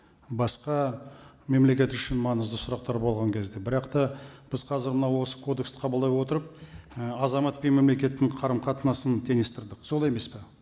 басқа мемлекет үшін маңызды сұрақтар болған кезде бірақ та біз қазір мынау осы кодексті қабылдай отырып ы азамат пен мемлекеттің қарым қатынасын теңестірдік солай емес пе